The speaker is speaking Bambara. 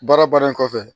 Baara baara in kɔfɛ